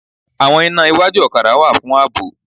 Àwọn iná iwájú ọ̀kadà wà fún ààbò